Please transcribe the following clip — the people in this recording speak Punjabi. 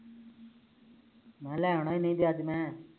ਮੈਂ ਲੈ ਆਉਣਾ ਨਹੀ ਤੇ ਅੱਜ ਮੈਂ